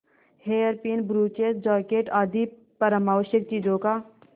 hairpin brooches jacket आदि परमावश्यक चीजों का